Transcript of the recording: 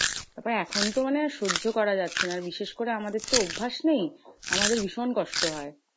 তারপর এখন তো মানে সহ্য করা যাচ্ছে না। বিশেষ করে আমাদের তো অভ্যাস নেই আমাদের ভীষণ কষ্ট হয়।